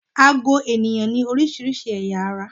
Àgó ènìyàn ní oríṣiríṣi ẹ̀yà-ara.